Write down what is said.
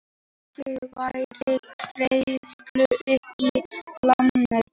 Bankinn fær greiðslur upp í lánið